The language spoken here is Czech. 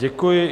Děkuji.